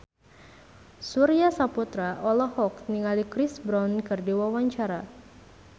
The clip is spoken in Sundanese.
Surya Saputra olohok ningali Chris Brown keur diwawancara